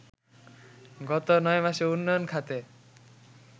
গত ৯ মাসে উন্নয়ন খাতে